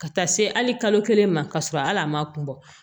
Ka taa se hali kalo kelen ma ka sɔrɔ hal'a ma kun bɔ